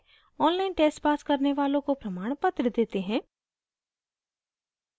online test pass करने वालों को प्रमाणपत्र देते हैं